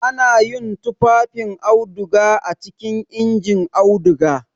Ana yin tufafin auduga a cikin injin auduga.